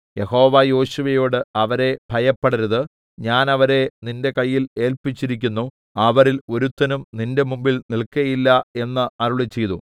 യഹോവ യോശുവയോട് അവരെ ഭയപ്പെടരുത് ഞാൻ അവരെ നിന്റെ കയ്യിൽ ഏല്പിച്ചിരിക്കുന്നു അവരിൽ ഒരുത്തനും നിന്റെ മുമ്പിൽ നിൽക്കയില്ല എന്ന് അരുളിച്ചെയ്തു